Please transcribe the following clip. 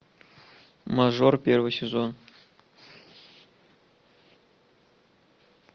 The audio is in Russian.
мажор первый сезон